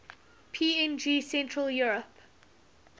png central europe